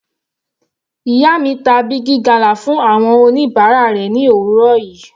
Ìyá mi ta Big gala fún àwọn oníbàárà rẹ̀ ni òwúrọ̀ yìí.